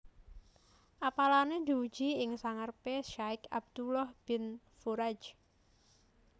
Apalané diuji ing sangarepé Syaikh Abdullah Bin Furaij